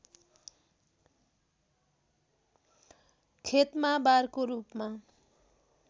खेतमा बारको रूपमा